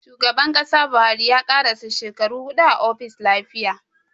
Shugaban Kasa Buhari ya karasa shekaru huɗu a ofis lafiya